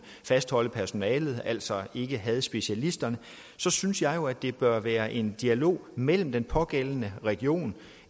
fastholde personalet altså ikke har specialisterne så synes jeg jo at der bør være en dialog mellem den pågældende region